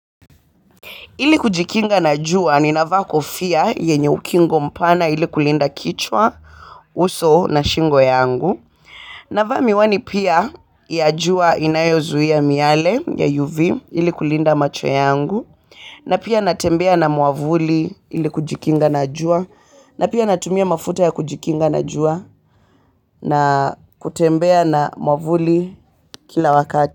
Ili kujikinga na jua ninavaa kofia yenye ukingo mpana ili kulinda kichwa, uso na shingo yangu. Navaa miwani pia ya jua inayozuia miale ya UV ili kulinda macho yangu. Na pia natembea na mwavuli ili kujikinga na jua. Na pia natumia mafuta ya kujikinga na jua na kutembea na muavuli kila wakati.